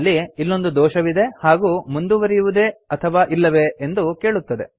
ಅಲ್ಲಿ ಇಲ್ಲೊಂದು ದೋಷವಿದೆ ಹಾಗೂ ಮುಂದುವರಿಯುವುದೇ ಅಥವಾ ಇಲ್ಲವೇ ಎಂದು ಕೇಳುತ್ತದೆ